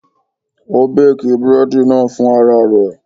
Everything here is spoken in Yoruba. Ó béèkì búrẹ́dì náà fún ara rẹ̀.